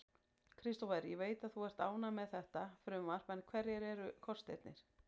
Kristófer, ég veit að þú ert ánægður með þetta frumvarp en hverjir eru kostirnir?